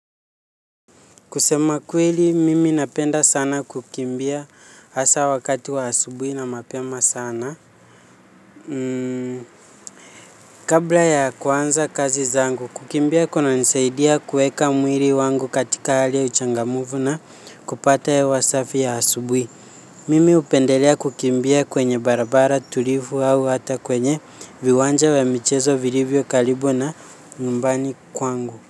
Kusema kweli mimi napenda sana kukimbia hasa wakati wa asubuhi na mapema sana. Mmm kabla ya kuanza kazi zangu kukimbia kuna nisaidia kueka mwili wangu katika hali ya uchangamfu na kupata hewa safi ya asubuhi. Mimi hupendelea kukimbia kwenye barabara tulivu au hata kwenye viwanja vya michezo vilivyo karibu na nyumbani kwangu.